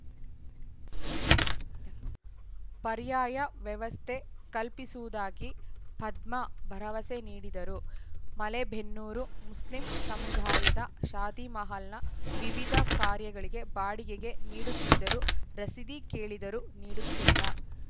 ಎಲ್ಲಿ ಇದಲ್ಲಾ ಪರ್ಯಾಯ ವ್ಯವಸ್ಥೆ ಕಲ್ಪಿಸುವುದಾಗಿ ಪದ್ಮಾ ಭರವಸೆ ನೀಡಿದರು ಮಲೆಬೆನ್ನೂರು ಮುಸ್ಲಿಂ ಸಮುದಾಯದ ಶಾದಿ ಮಹಲ್‌ನ ವಿವಿಧ ಕಾರ್ಯಗಳಿಗೆ ಬಾಡಿಗೆಗೆ ನೀಡುತ್ತಿದ್ದರೂ ರಸೀದಿ ಕೇಳಿದರೂ ನೀಡುತ್ತಿಲ್ಲ